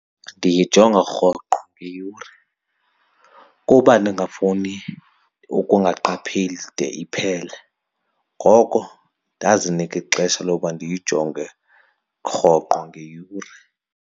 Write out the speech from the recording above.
Ndiyijonga rhoqo ngeyure kuba ndingafuni ukungaqhapheli de iphele, ngoko ndazinika ixesha loba ndiyijonge rhoqo ngeyure.